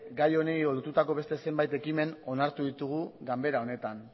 gai honi lotutako beste zenbati ekimen onartu ditugu ganbera honetan